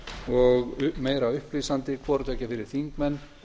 og meira upplýsandi hvorutveggja fyrir þingmenn